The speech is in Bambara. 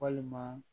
Walima